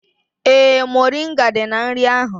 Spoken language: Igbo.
Ee, moringa dị na nri ahụ